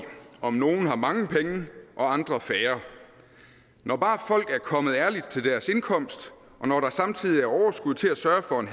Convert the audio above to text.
om nogle har mange penge og andre færre når bare folk er kommet ærligt til deres indkomst og når der samtidig er overskud til at sørge for en